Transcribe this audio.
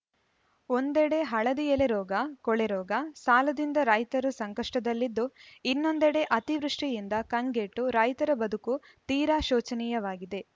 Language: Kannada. ಒಂದೆಡೆ ಹಳದಿ ಎಲೆ ರೋಗ ಕೊಳೆ ರೋಗ ಸಾಲದಿಂದ ರೈತರು ಸಂಕಷ್ಟದಲ್ಲಿದ್ದು ಇನ್ನೊಂದೆಡೆ ಅತಿವೃಷ್ಟಿಯಿಂದ ಕಂಗೆಟ್ಟು ರೈತರ ಬದುಕು ತೀರಾ ಶೋಚನೀಯವಾಗಿದೆ